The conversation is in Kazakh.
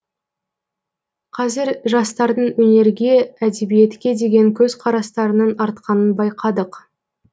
қазір жастардың өнерге әдебиетке деген көзқарастарының артқанын байқадық